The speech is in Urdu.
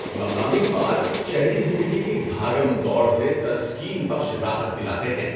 مقامی پارک شہری زندگی کی بھاگم دوڑ سے تسکین بخش راحت دلاتے ہیں۔